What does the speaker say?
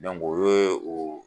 o ye o